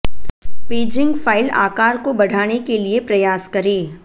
paging file आकार को बढ़ाने के लिए प्रयास करें